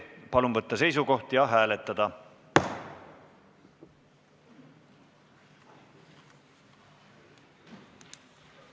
Palun võtta seisukoht ja hääletada!